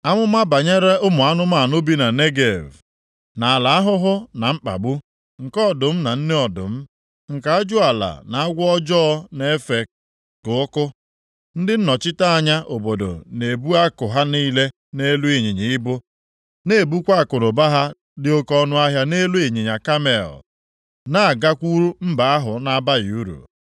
Amụma banyere ụmụ anụmanụ bi na Negev. Nʼala ahụhụ na mkpagbu, nke ọdụm na nne ọdụm, nke ajụala na agwọ ọjọọ na-efe ka ọkụ, ndị nnọchite anya obodo na-ebu akụ ha niile nʼelu ịnyịnya ibu, na-ebukwa akụnụba ha dị oke ọnụahịa nʼelu ịnyịnya kamel, na-agakwuru mba ahụ na-abaghị uru,